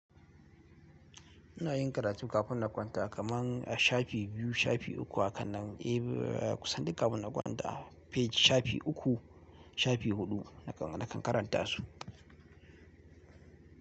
Ina yin karatu kafin na kwanta kamar shafi biyu, shafi uku hakan nan. Eh, kusan duka kafin na kwanta shafi uku, shafi huɗu nakan, nakan karanta su.